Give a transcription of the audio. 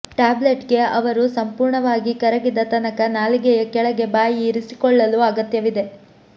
ಟ್ಯಾಬ್ಲೆಟ್ಸ್ಗೆ ಅವರು ಸಂಪೂರ್ಣವಾಗಿ ಕರಗಿದ ತನಕ ನಾಲಿಗೆಯ ಕೆಳಗೆ ಬಾಯಿ ಇರಿಸಿಕೊಳ್ಳಲು ಅಗತ್ಯವಿದೆ